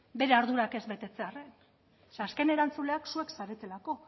bere ardurak ez betetzearren zeren azken erantzuleak zuek zaretelako